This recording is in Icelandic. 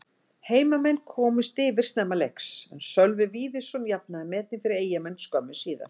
Heimamenn komust yfir snemma leiks en Sölvi Víðisson jafnaði metin fyrir Eyjamenn skömmu síðar.